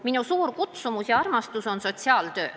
Minu suur kutsumus ja armastus on sotsiaaltöö.